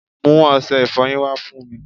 mú ọṣẹ ìfọyín wá fún mi